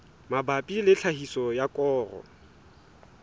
mabapi le tlhahiso ya koro